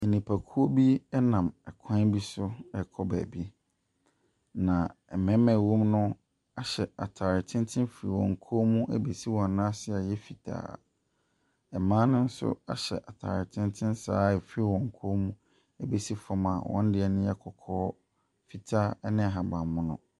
Nnipakuo bi nam kwan bi so rekɔ baabi. Na mmarima a ɛwɔ mu no ahyɛ ataare tenten fi wɔn kɔn mu de ɛbesi wɔn nan ase a ɛyɛ fitaa. Mma no nso ahyɛ ahyɛ ataare tenten saa fi wɔn kɔn mu besi fam a wɔdeɛ kɔkɔkɔ, fitaa ne ahabanmono.